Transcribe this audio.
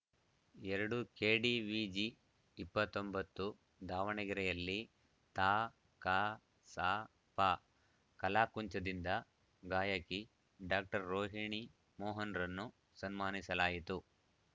ಎರಡು ಕೆಡಿವಿಜಿ ಇಪ್ಪತ್ತ್ ಒಂಬತ್ತು ದಾವಣಗೆರೆಯಲ್ಲಿ ತಾಕಸಾಪ ಕಲಾಕುಂಚದಿಂದ ಗಾಯಕಿ ಡಾಕ್ಟರ್ ರೋಹಿಣಿ ಮೋಹನ್‌ರನ್ನು ಸನ್ಮಾನಿಸಲಾಯಿತು